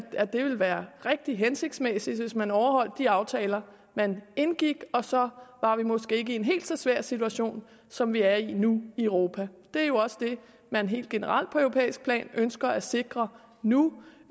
det ville være rigtig hensigtsmæssigt hvis man overholdt de aftaler man indgik så var vi måske ikke i en helt så svær situation som vi er i nu i europa det er jo også det man helt generelt på europæisk plan ønsker at sikre nu